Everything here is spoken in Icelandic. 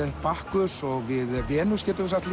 Bakkus og við Venus getum við sagt